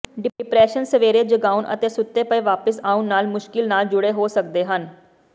depression ਸਵੇਰੇ ਜਗਾਉਣ ਅਤੇ ਸੁੱਤੇ ਪਏ ਵਾਪਸ ਆਉਣ ਨਾਲ ਮੁਸ਼ਕਲ ਨਾਲ ਜੁੜੇ ਹੋ ਸਕਦੇ ਹਨ